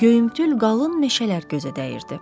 Göyümtül qalın meşələr gözə dəyirdi.